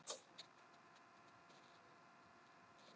Fæ ég að kyssa hana fyrir framan alla?